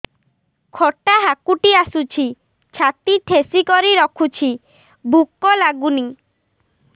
ଖଟା ହାକୁଟି ଆସୁଛି ଛାତି ଠେସିକରି ରଖୁଛି ଭୁକ ଲାଗୁନି